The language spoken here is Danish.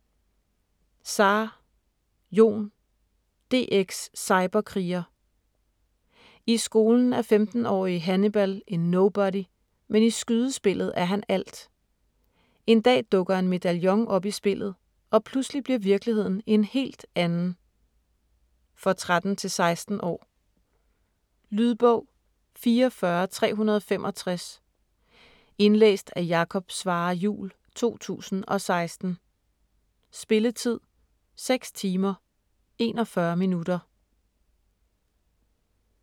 Zaar, Jon: DX cyberkriger I skolen er 15-årige Hannibal en nobody, men i skydespillet er han alt. En dag dukker en medaljon op i spillet, og pludselig bliver virkeligheden en helt anden. For 13-16 år. Lydbog 44365 Indlæst af Jakob Svarre Juhl, 2016. Spilletid: 6 timer, 41 minutter.